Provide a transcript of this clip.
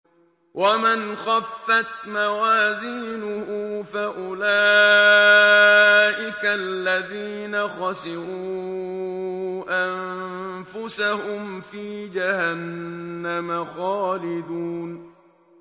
وَمَنْ خَفَّتْ مَوَازِينُهُ فَأُولَٰئِكَ الَّذِينَ خَسِرُوا أَنفُسَهُمْ فِي جَهَنَّمَ خَالِدُونَ